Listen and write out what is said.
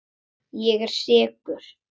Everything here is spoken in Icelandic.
Ég er sekur.